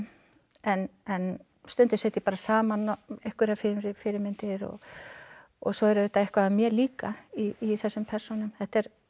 en stundum set ég bara saman einhverjar fyrirmyndir og og svo er auðvitað eitthvað af mér líka í þessum persónum þetta er